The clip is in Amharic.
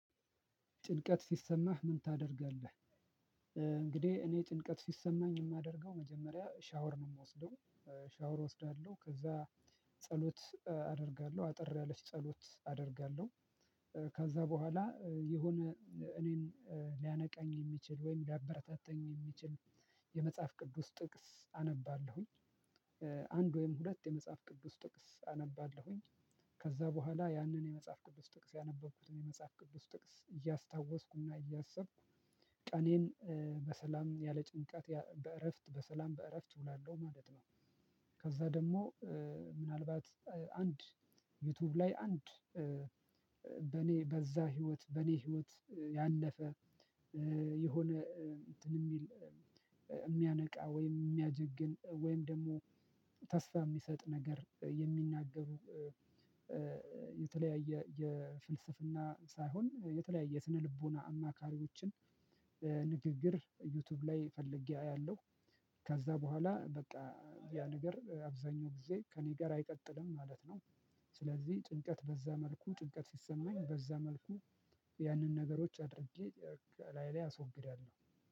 ጭንቀት ስሰማህ ምን ታደርጋለህ? እንግዲህ እኔ ጭንቀት ስሰማኝ የማደርገው መጀመሪያ ሸወር ነው የምወስደው ሸወር እወስዳለሁ ከዛ ጸሎት አደርጋለሁ አጠር ያለች ጸሎት አደርጋለሁ። ከዛ ቦኃላ የሆነ እኔን ልያነቃኝ የሚችል ወይም ልያበረታታኝ የምችል የመጽሐፍ ቅዱስ ጥቅስ አነባለሁኝ አንድ ወይም ሁለት የመጽሐፍ ቅዱስ ጥቅስ አነባለሁኝ። ከዛ ቦኃላ ያንን የመጽሐፍ ቅዱስ ጥቅስ ያነበብኩትን የመጽሐፍ ቅዱስ ጥቅስ እያስታዎስኩ እና እያሰብኩ ቀኔን በሰላም ያለ ጭንቀት ያ በእረፍት በሰላም በእረፍት እውላለሁ ማለት ነው። ከዛ ደግሞ ምናልባት አንድ ዩቲዩብ ላይ አንድ በኔ በዛ ህይወት በኔ ህይወት ያለፈ የሆነ እንትን የሚል የሚያነቃ ወይም የሚያጀግን ወይም ደግሞ ተስፋ የሚሰጥ ነገር የሚናገሩ የተለያየ የፍልስፍና ሳይሆን የተለያየ ስነልቦና አማካሪዎችን ንግግር ዩቲዩብ ላይ ፈልጌ አያለሁ። ከዛ በኋላ በቃ ያ ነገር አብዛኛው ጊዜ ከእኔ ጋር አይቀጥልም ማለት ነው። ስለዚህ ጭንቀት በዛ መልኩ ጭንቀት ሲሰማኝ በዛ መልኩ ያንን ነገሮች አድርጌ ከላዬላይ አስወግዳለሁ።